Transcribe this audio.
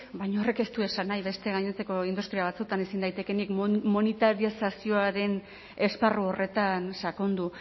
baina horrek ez du esan nahi beste gainontzeko industria batzuetan ezin daitekeenik monitarizazioaren esparru horretan sakondu